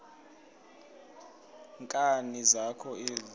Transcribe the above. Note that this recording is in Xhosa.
nkani zakho ezi